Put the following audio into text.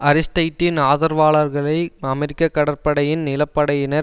அரிஸ்டைட்டின் ஆதரவாளர்களை அமெரிக்க கடற்படையின் நிலப்படையினர்